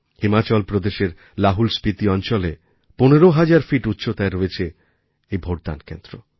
হিমাচল প্রদেশের লাহুলস্পিতি অঞ্চলে ১৫০০০ ফিট উচ্চতায় রয়েছে এই ভোটদান কেন্দ্র